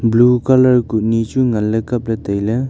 Blue colour kuh nyi chu ngan ley kap ley tai ley.